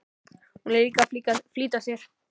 Hún er líka að flýta sér.